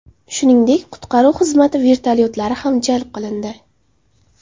Shuningdek, qutqaruv xizmati vertolyotlari ham jalb qilindi.